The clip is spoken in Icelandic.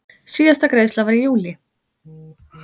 Síðasta greiðsla var í júlí.